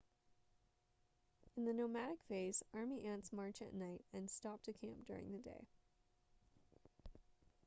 in the nomadic phase army ants march at night and stop to camp during the day